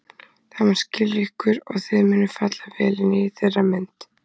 Það mun skilja ykkur og þið munuð falla vel inn í þeirra mynd.